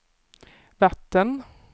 vatten